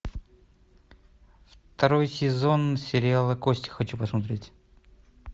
второй сезон сериала кости хочу посмотреть